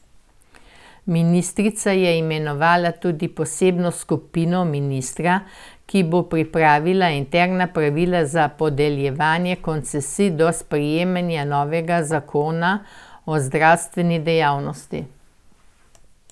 Ministrica je imenovala tudi posebno skupino ministrstva, ki bo pripravila interna pravila za podeljevanje koncesij do sprejema novega zakona o zdravstveni dejavnosti.